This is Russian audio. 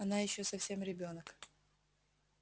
она ещё совсем ребёнок